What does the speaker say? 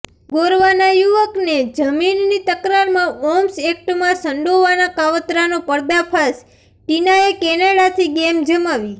ગોરવાના યુવકને જમીનની તકરારમાં આર્મ્સ એક્ટમાં સંડોવાના કાવતરાનો પર્દાફાશ ઃ ટીનાએ કેનેડાથી ગેમ જમાવી